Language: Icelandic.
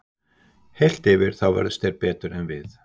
Heilt yfir þá vörðust þeir betur en við.